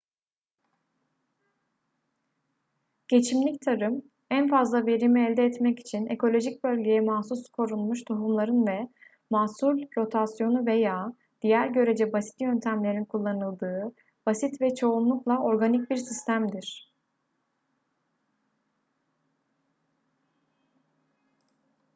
geçimlik tarım en fazla verimi elde etmek için ekolojik bölgeye mahsus korunmuş tohumların ve mahsul rotasyonu veya diğer görece basit yöntemlerin kullanıldığı basit ve çoğunlukla organik bir sistemdir